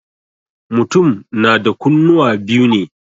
Mutum na da kunnuwa biyu ne.